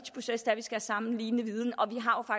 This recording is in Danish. skal have samme viden og